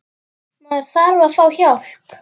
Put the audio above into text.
Maður þarf að fá hjálp.